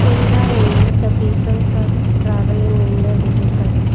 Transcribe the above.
in the image the peoples are travelling in the vehicles.